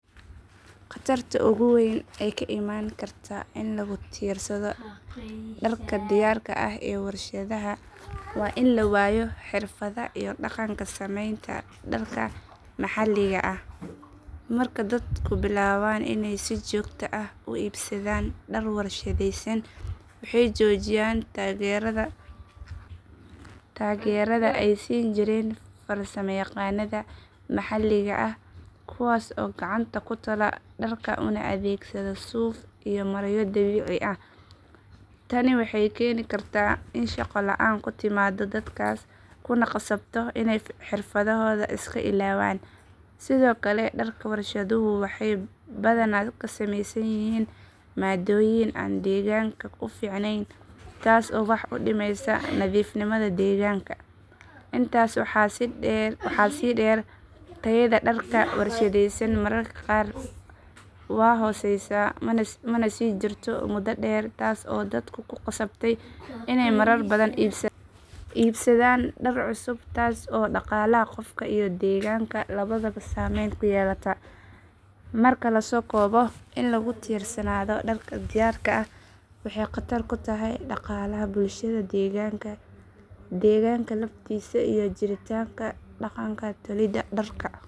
Khatarta ugu weyn ee ka imaan karta in lagu tiirsado dharka diyaarka ah ee warshadaha waa in la waayo xirfadda iyo dhaqanka samaynta dharka maxaliga ah. Marka dadku bilaabaan inay si joogto ah u iibsadaan dhar warshadaysan waxay joojiyaan taageerada ay siin jireen farsamayaqaannada maxaliga ah kuwaas oo gacanta ku tola dharka una adeegsada suuf iyo maryo dabiici ah. Tani waxay keeni kartaa in shaqo la’aan ku timaado dadkaas kuna khasabto inay xirfadahooda iska ilaawaan. Sidoo kale dharka warshaduhu waxay badanaa ka samaysan yihiin maaddooyin aan deegaanka u fiicnayn taas oo wax u dhimaysa nadiifnimada deegaanka. Intaas waxaa sii dheer tayada dharka warshadaysan mararka qaar waa hooseysa mana sii jirto muddo dheer taas oo dadka ku khasabta inay marar badan iibsadaan dhar cusub taas oo dhaqaalaha qofka iyo deegaanka labadaba saameyn ku yeelata. Marka la soo koobo in lagu tiirsanaado dharka diyaarka ah waxay khatar ku tahay dhaqaalaha bulshada deegaanka deegaanka laftiisa iyo jiritaanka dhaqanka tolidda dharka.